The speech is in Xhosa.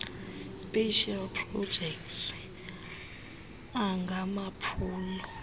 specials projects angamaphulo